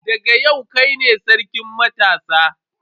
Daga yau kai ne sarkin matasa.